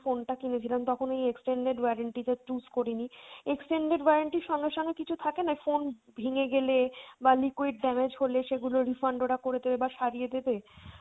phone টা কিনেছিলাম তখন ওই extended warranty টা choose করিনি, extended warranty র সঙ্গে সঙ্গে কিছু থাকেনা phone ভেঙে গেলে বা liquid damage হলে সেগুলোর refund ওরা করে দেবে বা সারিয়ে দেবে